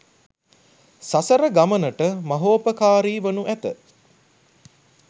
සසර ගමනට මහෝපකාරී වනු ඇත.